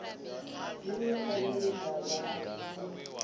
dzi vhe pfanelo dza vhuthu